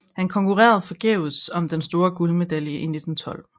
Han konkurrerede forgæves om den store guldmedalje 1912